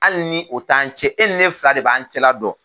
Hali ni o t'an cɛ e ni ne fila de b'an cɛla dɔn